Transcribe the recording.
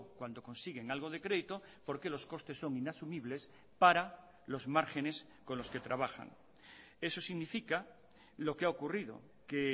cuando consiguen algo de crédito porque los costes son inasumibles para los márgenes con los que trabajan eso significa lo que ha ocurrido que